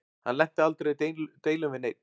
Hann lenti aldrei í deilum við neinn.